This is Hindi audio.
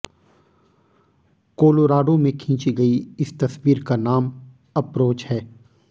कोलोराडो में खींची गई इस तस्वीर का नाम अप्रोच है